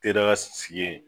Te daga sigi yen.